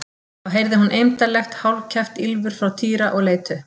Þá heyrði hún eymdarlegt, hálfkæft ýlfur frá Týra og leit upp.